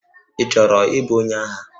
Ị chọrọ ịbụ onye agha?